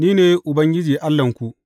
Ni ne Ubangiji Allahnku.